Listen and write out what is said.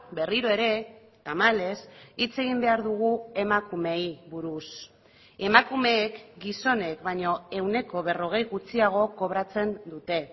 berriro ere tamalez hitz egin behar dugu emakumeei buruz emakumeek gizonek baino ehuneko berrogei gutxiago kobratzen dute